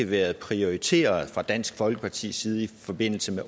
været prioriteret fra dansk folkepartis side i forbindelse med